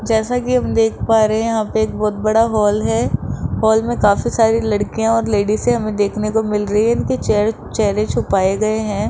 जैसा कि हम देख पा रहे हैं यहां पे एक बहुत बड़ा हॉल है हॉल में काफी सारी लड़कियां और लेडीसे हमें देखने को मिल रही है उनके चेह चेहरे छुपाए गए हैं।